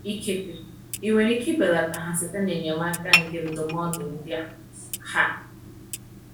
Ikekwe ị nwere ike belata ha site na enyemaka nke ndụmọdụ ndị a. um